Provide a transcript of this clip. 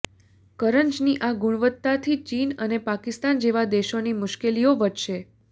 કરંજની આ ગુણવત્તાથી ચીન અને પાકિસ્તાન જેવા દેશોની મુશ્કેલીઓ વધશે